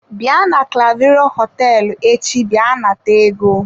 Bịa na clavero hoteelu echi bia nata ego.